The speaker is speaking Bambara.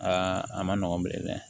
Aa a ma nɔgɔn bilen dɛ